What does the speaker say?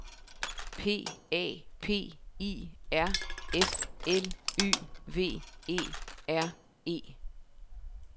P A P I R F L Y V E R E